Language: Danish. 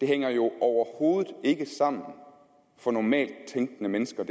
hænger jo overhovedet ikke sammen for normalt tænkende mennesker